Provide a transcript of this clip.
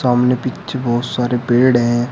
सामने पीछे बहोत सारे पेड़ हैं।